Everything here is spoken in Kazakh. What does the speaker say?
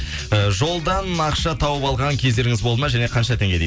і жолдан ақша тауып алған кездеріңіз болды ма және қанша теңге дейді